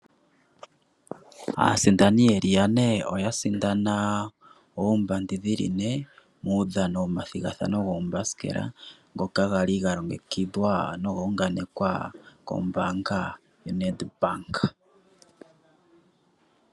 Aasindani yeli yane oya sindana oombandi dhili ne muudhano womathigathano goombasikela ngoka gali galongekidhwa noguunganekwa kombaanga yaNedbank.